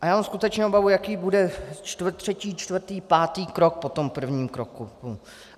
A já mám skutečně obavu, jaký bude třetí, čtvrtý, pátý krok po tom prvním kroku.